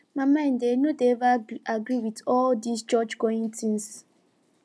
my mind eh no dey ever agree with all dis church going things